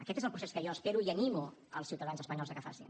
aquest és el procés que jo espero i animo els ciutadans espanyols que el facin